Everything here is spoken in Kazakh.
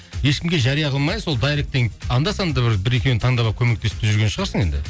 ешкімге жария қылмай сол дайректен анда санда бір бір екеуін таңдап алып көмектесіп те жүрген шығарсың енді